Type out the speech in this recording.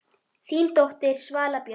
Þín dóttir, Svala Björk.